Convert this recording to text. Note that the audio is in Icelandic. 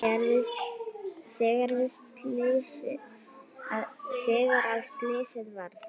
Þegar að slysið varð?